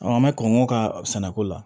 an bɛ kɔn k'o ka sɛnɛko la